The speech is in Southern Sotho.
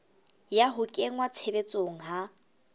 ya ho kenngwa tshebetsong ha